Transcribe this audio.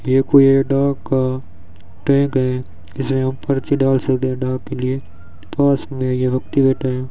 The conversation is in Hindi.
ये कोई डाक का ट्रैक है जिससे यहां पर्ची डाल सकते हैं डाक के लिए पास में यहां एक्टीवेटर है।